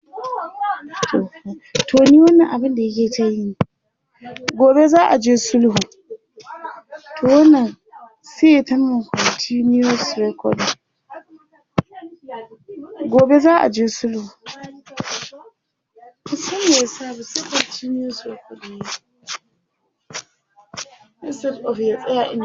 Gobe za a je sulhu.